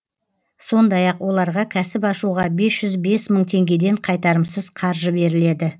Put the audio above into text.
сондай ақ оларға кәсіп ашуға бес жүз бес мың теңгеден қайтарымсыз қаржы беріледі